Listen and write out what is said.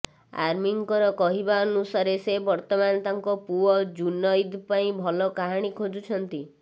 ଆମୀର୍ଙ୍କର କହିବା ଅନୁସାରେ ସେ ବର୍ତ୍ତମାନ ତାଙ୍କ ପୁଅ ଜୁନୈଦ୍ ପାଇଁ ଭଲ କାହାଣୀ ଖୋଜୁଛନ୍ତି